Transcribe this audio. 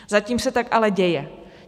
Zatím se tak ale děje.